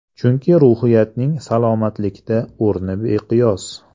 Chunki ruhiyatning salomatlikda o‘rni beqiyos.